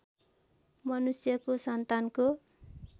मनुष्यको सन्तानको